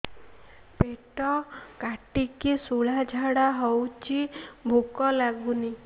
ପେଟ କାଟିକି ଶୂଳା ଝାଡ଼ା ହଉଚି ଭୁକ ଲାଗୁନି